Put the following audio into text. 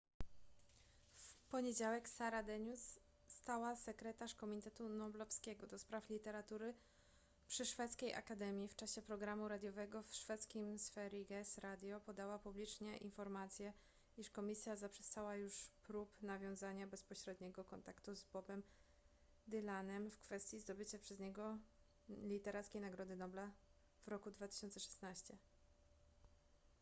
w poniedziałek sara denius stała sekretarz komitetu noblowskiego ds literatury przy szwedzkiej akademii w czasie programu radiowego w szwedzkim sveriges radio podała publicznie informację iż komisja zaprzestała już prób nawiązania bezpośredniego kontaktu z bobem dylanem w kwestii zdobycia przez niego literackiej nagrody nobla w roku 2016